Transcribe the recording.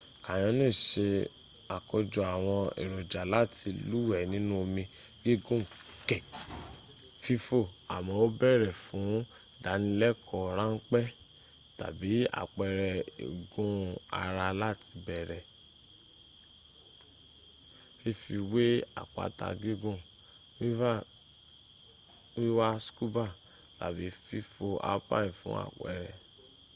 canyoning se àkójọ àwọn èròjà láti lúwẹ̀ẹ́ nínú omi gígùn kè fífò--àmọ́ ó bèèrè fún ìdánilẹ́kọ̀ọ́ ráńpẹ́ tàbí àpẹrẹ igun ara láti bẹ̀rẹ̀ fífi wé àpáta gígùn wíwa scuba tàbí fífò alphine fún àpẹrẹ